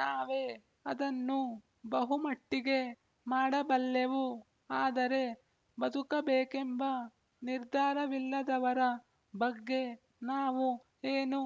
ನಾವೇ ಅದನ್ನು ಬಹುಮಟ್ಟಿಗೆ ಮಾಡಬಲ್ಲೆವು ಆದರೆ ಬದುಕಬೇಕೆಂಬ ನಿರ್ಧಾರವಿಲ್ಲದವರ ಬಗ್ಗೆ ನಾವು ಏನು